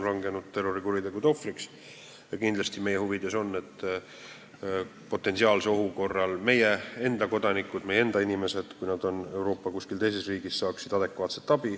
Kindlasti on meie huvides, et potentsiaalse ohu korral meie enda kodanikud, meie enda inimesed, kui nad on kuskil teises Euroopa riigis, saaksid adekvaatset abi.